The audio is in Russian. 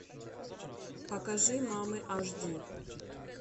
покажи мамы аш ди